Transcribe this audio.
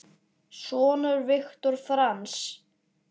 Sonur Viktor Franz.